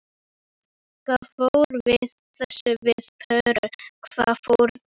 Hvað fór þessum pörum öllum á milli?